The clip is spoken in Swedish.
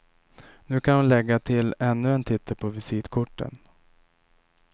Nu kan hon lägga till ännu en titel på visitkorten.